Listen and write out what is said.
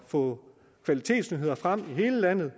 få kvalitetsnyheder frem i hele landet